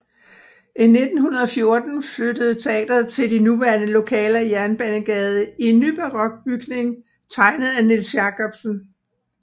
I 1914 flyttede teatret til de nuværende lokaler i Jernbanegade i en nybarok bygning tegnet af Niels Jacobsen